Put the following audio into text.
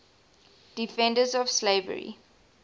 defenders of slavery